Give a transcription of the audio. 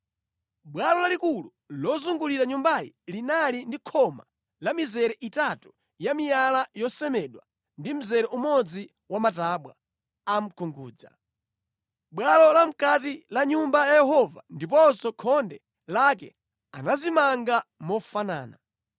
Bwalo lalikulu lozungulira nyumbayi linali ndi khoma la mizere itatu ya miyala yosemedwa ndi mzere umodzi wa matabwa a mkungudza. Bwalo la mʼkati la Nyumba ya Yehova ndiponso khonde lake anazimanga mofanana.